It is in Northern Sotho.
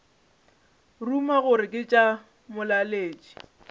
ruma gore ke tša molaletši